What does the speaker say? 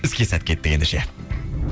іске сәт кеттік ендеше